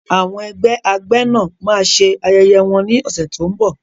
Àwọn ẹgbẹ́ agbẹ́nà máa ṣe ayẹyẹ wọn ní ọ̀sẹ̀ tó ń bọ̀.